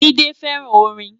Jide fèrán órin